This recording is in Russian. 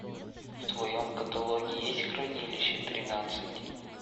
в твоем каталоге есть хранилище тринадцать